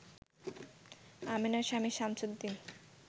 আমেনার স্বামী সামছুদ্দিন